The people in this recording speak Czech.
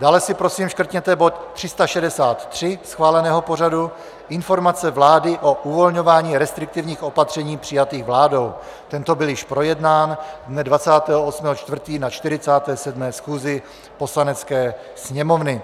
Dále si prosím škrtněte bod 363 schváleného pořadu, Informace vlády o uvolňování restriktivních opatření přijatých vládou - tento byl již projednán dne 28. 4. na 47. schůzi Poslanecké sněmovny.